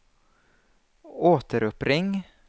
återuppring